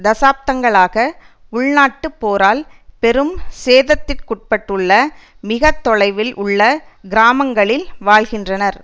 தசாப்தங்களாக உள்நாட்டுப் போரால் பெரும் சேதத்திற்குட்பட்டுள்ள மிக தொலைவில் உள்ள கிராமங்களில் வாழ்கின்றனர்